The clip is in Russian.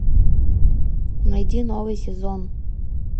найди новый сезон